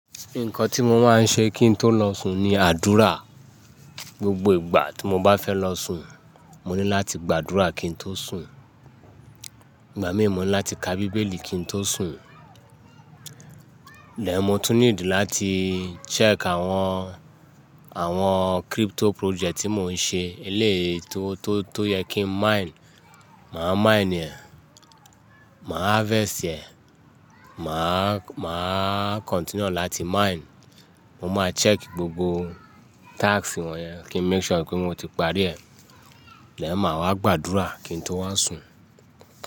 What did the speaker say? Nǹkan tí mo máa ń ṣe kí n tó lọ sùn ni àdúrà. Gbogbo ìgbà tí mo bá fẹ́ lọ sùn, mo ní láti gbàdúrà kí n tó sùn. Ìgbà míì mo ní láti ka bíbélì kí n tó sùn. Then mó tún need láti check àwọn, àwọn crypto project tí mo ń ṣe eléèyi, tó tó yẹ kí n mine, màá mine ẹ, màá harvest ẹ, màá, màá continue láti mine. Mo máa check gbogbo task wọ̀n yẹn kí n make sure pé mo ti parí ẹ̀. Then màá wá gbàdúrà kí n tó wá sùn.